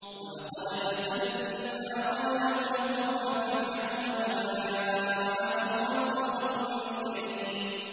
۞ وَلَقَدْ فَتَنَّا قَبْلَهُمْ قَوْمَ فِرْعَوْنَ وَجَاءَهُمْ رَسُولٌ كَرِيمٌ